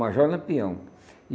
Major Lampião.